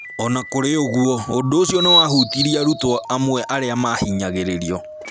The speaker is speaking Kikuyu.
O na kũrĩ ũguo, ũndũ ũcio nĩ wahutirie arutwo amwe arĩa maahinyagĩrĩtio.